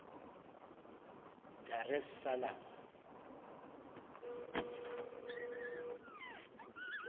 dar es salaam